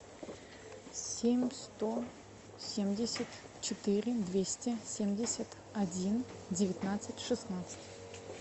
семь сто семьдесят четыре двести семьдесят один девятнадцать шестнадцать